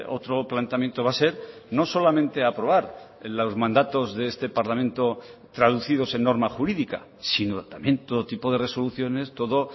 otro planteamiento va a ser no solamente aprobar los mandatos de este parlamento traducidos en norma jurídica sino también todo tipo de resoluciones todo